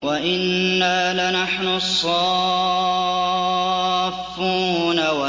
وَإِنَّا لَنَحْنُ الصَّافُّونَ